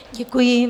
Děkuji.